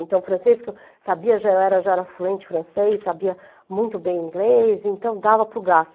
Então, francês, que eu sabia, já era já era fluente francês, sabia muito bem inglês, então, dava para o gasto.